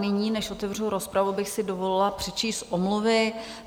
Nyní, než otevřu rozpravu, bych si dovolila přečíst omluvy.